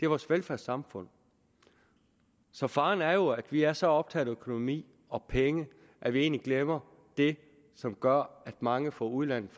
vores velfærdssamfund så faren er jo at vi er så optaget af økonomi og penge at vi egentlig glemmer det som gør at mange fra udlandet